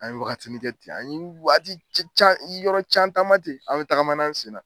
An ye wagatini kɛ ten, an ye wagati can yɔrɔ caman taaman ten an bɛ tagamana an sen na.